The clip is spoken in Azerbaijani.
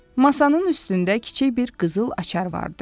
Masanın üstündə kiçik bir qızıl açar vardı.